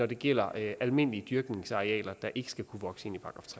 det gælder almindelige dyrkningsarealer der ikke skal kunne vokse